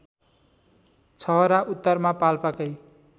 छहरा उत्तरमा पाल्पाकै